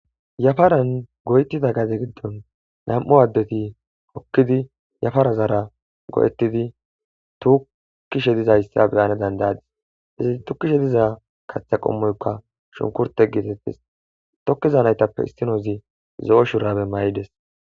yafaran goytida gade giddon nam7u addeti kokkidi yafara zara go7ettidi tukishe dizayssa beyane dandayadis izi tukkishe diza kaththa qommoykka shunkurte gietettes tokkiza naytappe istinozi zo7o shurabe may7ides